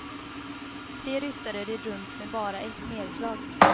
Tre ryttare red runt med bara ett nerslag.